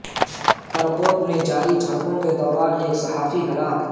کرکوک میں جاری جھڑپوں کے دوران ایک صحافی ہلاک